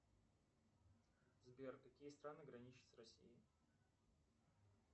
сбер какие страны граничат с россией